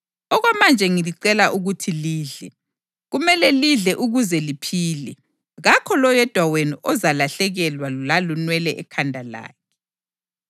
Okwamanje ngilicela ukuthi lidle. Kumele lidle ukuze liphile. Kakho loyedwa wenu ozalahlekelwa lalunwele ekhanda lakhe.”